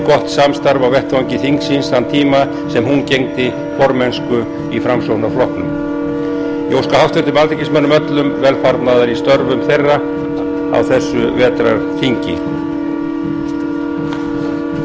gott samstarf á vettvangi þingsins þann tíma sem hún gegndi formennsku í framsóknarflokknum ég óska háttvirtum alþingismönnum öllum velfarnaðar í störfum